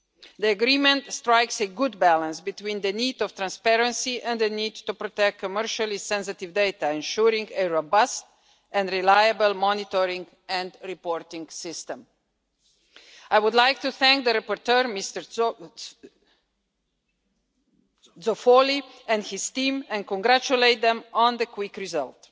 The agreement strikes a good balance between the need for transparency and the need to protect commercially sensitive data, ensuring a robust and reliable monitoring and reporting system. I would like to thank the rapporteur, Mr Zoffoli, and his team and congratulate them on the quick result.